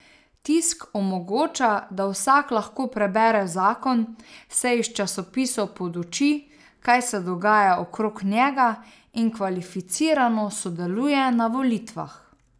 Tisk omogoča, da vsak lahko prebere zakon, se iz časopisov poduči, kaj se dogaja okrog njega, in kvalificirano sodeluje na volitvah.